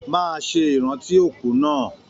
Máa ṣe ìrántí òkú náà!